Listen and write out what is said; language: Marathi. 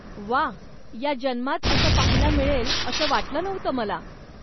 व्वा! या जन्मात असं पाहायला मिळेल असं वाटलं नव्हतं मला.